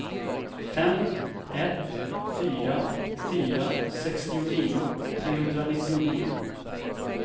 fem ett fyra fyra sextionio trehundranittionio